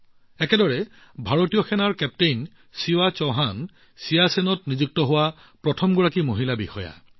একেদৰে ভাৰতীয় সেনাৰ সাহসী হৃদয় কেপ্টেইন শিৱা চৌহান চিয়াচেনত নিযুক্ত হোৱা প্ৰথম গৰাকী মহিলা বিষয়া হৈ পৰিছে